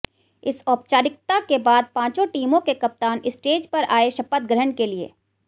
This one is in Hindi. इस औपचारिकता के बाद पांचों टीमों के कप्तान स्टेज पर आए शपथ ग्रहण के लिए